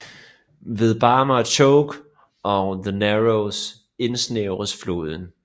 Ved Barmah Choke og The Narrows indsnævres floden